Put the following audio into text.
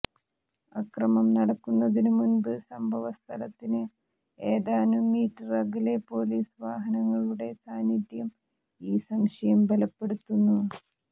അക്രമം നടക്കുന്നതിനുമുമ്പ് സംഭവ സ്ഥലത്തിന് ഏതാനും മീറ്റര് അകലെ പോലീസ് വാഹനങ്ങളുടെ സാന്നിദ്ധ്യം ഈ സംശയം ബലപ്പെടുത്തുന്നു